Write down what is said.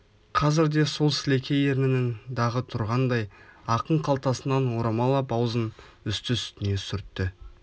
қазір де сол сілекей ернінің дағы тұрғандай ақын қалтасынан орамал ап аузын үсті-үстіне сүртті